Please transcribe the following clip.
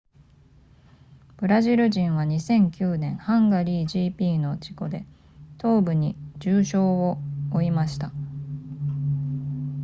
ブラジル人は2009年ハンガリー gp の事故で東部に重傷を負いました